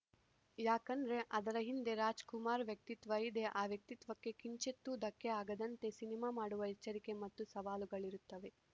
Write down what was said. ಯಾಕಂದ್ರೆ ಅದರ ಹಿಂದೆ ರಾಜ್‌ಕುಮಾರ್‌ ವ್ಯಕ್ತಿತ್ವ ಇದೆ ಆ ವ್ಯಕ್ತಿತ್ವಕ್ಕೆ ಕಿಂಚಿತ್ತೂ ಧಕ್ಕೆ ಆಗದಂತೆ ಸಿನಿಮಾ ಮಾಡುವ ಎಚ್ಚರಿಕೆ ಮತ್ತು ಸವಾಲುಗಳಿರುತ್ತವೆ